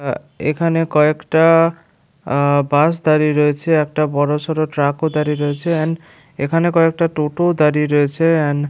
এখানে কয়েকটা আ বাস দাঁড়িয়ে রয়েছে একটা বড় সরো ট্র্যাক ও দাঁড়িয়ে রয়েছে অ্যান এখানে কয়েকটা টোটো দাঁড়িয়ে রয়েছে এন্ড --